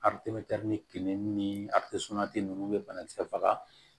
kelen ni ninnu bɛ banakisɛ faga